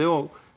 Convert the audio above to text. og